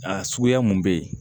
A suguya mun bɛ yen